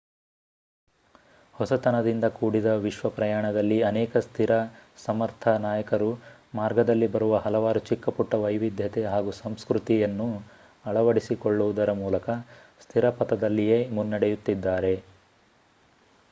ಹೊಸತನದಿಂದ ಕೂಡಿದ ವಿಶ್ವ ಪ್ರಯಾಣದಲ್ಲಿ ಅನೇಕ ಸ್ಥಿರ ಸಮರ್ಥ ನಾಯಕರು ಮಾರ್ಗದಲ್ಲಿ ಬರುವ ಹಲವಾರು ಚಿಕ್ಕಪುಟ್ಟ ವೈವಿಧ್ಯತೆ ಹಾಗೂ ಸಂಸ್ಕೃತಿಯನ್ನು ಅಳವಡಿಸಿಕೊಳ್ಳುವುದರ ಮೂಲಕ ಸ್ಥಿರ ಪಥದಲ್ಲಿಯೇ ಮುನ್ನಡೆಯುತ್ತಿದ್ದಾರೆ